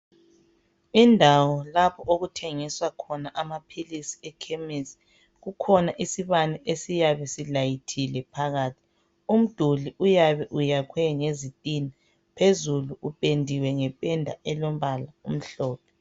Indawo lapho okuthengiswa khona ama pills eKhemisi kukhona isibane esiyabe silathile phakathi umduli uyabe ukhwe ngezitina phezulu upendiwe ngependa elombala omhlophe